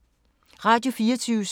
Radio 4